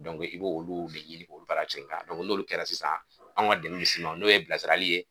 i b'olu de ɲini k'olu fara sen kan n'olu kɛra sisan, anw ka dɛmɛ bɛ s'i ma n'o ye bilasirali ye.